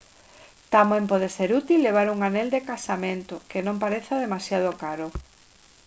tamén pode ser útil levar un anel de casamento que non pareza demasiado caro